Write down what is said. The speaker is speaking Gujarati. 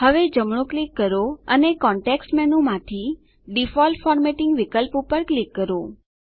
હવે જમણું ક્લિક કરો અને કોંટેક્સ્ટ મેનૂમાંથી ડિફોલ્ટ ફોર્મેટિંગ વિકલ્પ પર ક્લિક કરો